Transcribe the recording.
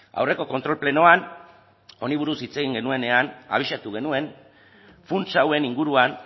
aurreko kontrol plenoan honi buruz hitz egin genuenean abisatu genuen funts hauen inguruan